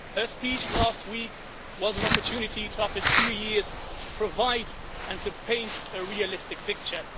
Her speech last week was an opportunity, after two years, to provide and to paint a realistic picture.